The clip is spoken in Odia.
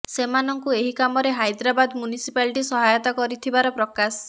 ସେମାନଙ୍କୁ ଏହି କାମରେ ହାଇଦରାବାଦ ମ୍ୟୁନସିପାଲିଟି ସହାୟତା କରିଥିବାର ପ୍ରକାଶ